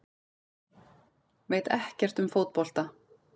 Veit ekkert um fótbolta